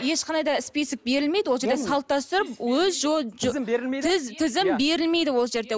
ешқандай да список берілмейді ол жерде салт дәстүр өз тізім берілмейді ол жерде